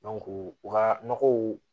u ka nɔgɔw